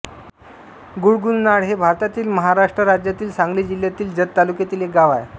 गुळगुंजनाळ हे भारतातील महाराष्ट्र राज्यातील सांगली जिल्ह्यातील जत तालुक्यातील एक गाव आहे